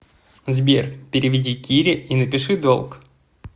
сбер переведи кире и напиши долг